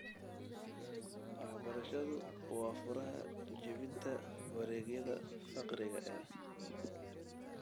Waxbarashadu waa furaha jebinta wareegyada faqriga ee .